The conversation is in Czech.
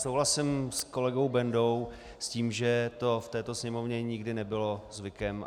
Souhlasím s kolegou Bendou, s tím, že to v této Sněmovně nikdy nebylo zvykem.